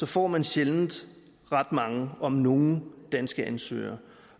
får man sjældent ret mange om nogen danske ansøgere